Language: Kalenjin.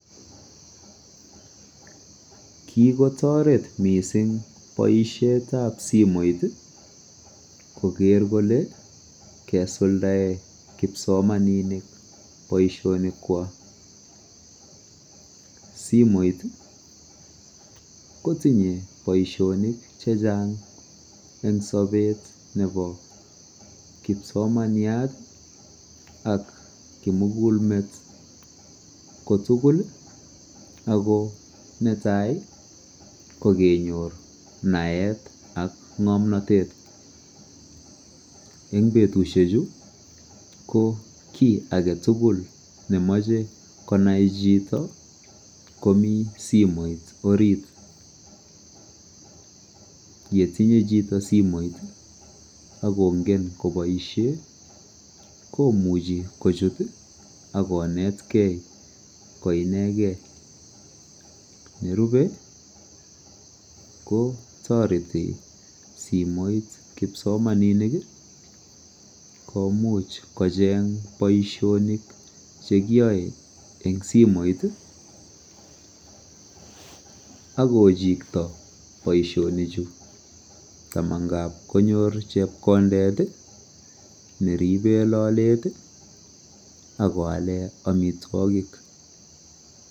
Kikotoret mising boishet ap simoit koker kole keisuldae kipsomaninik boishonik kwach simoit kotinye boishonik che chang eng sobet nebo kipsomaniat ak kimugul met kotugul ako netai kokenyor naet ak ng'omnotet eng betushek chu ko kiy age tugul nemochei konai chito komi simoit orit yetinyei chito simoit akongen koboishe komuchei kochut akonetkei koinegei nerubei ko toreti simoit kipsomaninik komuch kocheng boishonik chekiyoei eng simoit ako chikto boishonik chu ama ngap konyor chepkondet neribe lolet akoale amitwokik.